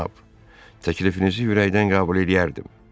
Cənab, təklifinizi ürəkdən qəbul eləyərdim.